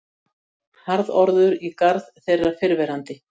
Harðorður í garð þeirrar fyrrverandi